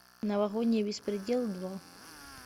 новогодний беспредел два